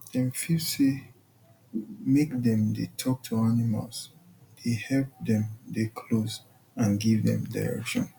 dem feel say make dem dey talk to animals dey help dem dey close and give dem direction